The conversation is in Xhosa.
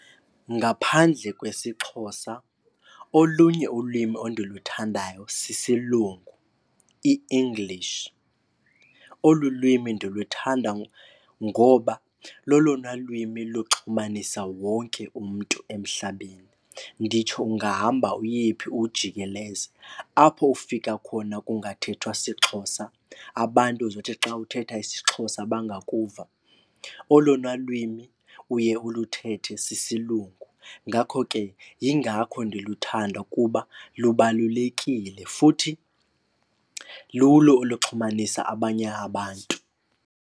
Ngaphandle kwesiXhosa olunye ulwimi endiluthandayo sisiLungu iEnglish. Olu lwimi ndiluthanda ngoba lolona lwimi loxhumanisa wonke umntu emhlabeni, nditsho ungahamba uyephi uwujikeleze. Apho ufika khona kungathethwa siXhosa, abantu uzothi xa uthetha isiXhosa bangakuva olona lwimi uye uluthethe sisiLungu. Ngakho ke yingakho ndiluthanda ukuba lubalulekile futhi lulo oluxhumanisa abanye abantu.